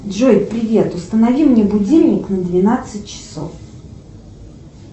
джой привет установи мне будильник на двенадцать часов